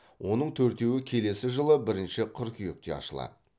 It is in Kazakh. оның төртеуі келесі жылы бірінші қыркүйекте ашылады